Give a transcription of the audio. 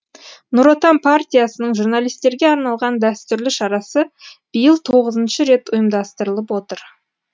нұр отан партиясының журналистерге арналған дәстүрлі шарасы биыл тоғызыншы рет ұйымдастырылып отыр